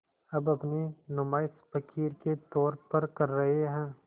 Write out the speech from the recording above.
अब अपनी नुमाइश फ़क़ीर के तौर पर कर रहे हैं